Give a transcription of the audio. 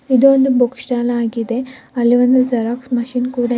ಇದು ಒಂದು book stall ಆಗಿದೆ ಅಲ್ಲಿ ಒಂದು ಜೆರಾಕ್ಸ್ ಮೆಷಿನ್ ಕೂಡ ಇದೆ.